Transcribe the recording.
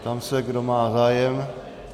Ptám se, kdo má zájem.